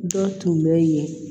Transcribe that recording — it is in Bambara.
Dɔ tun bɛ yen